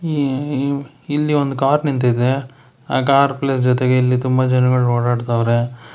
E- ಈ ಇಲ್ಲಿ ಒಂದು ಕಾರ್ ನಿಂತಿದೆ ಆ ಕಾರ್ ಪ್ಲೇಸ್ ಜೊತೆಗೆ ಇಲ್ಲಿ ತುಂಬಾ ಜನಗಳ ಓಡಾಡ್ತಾವರೆ.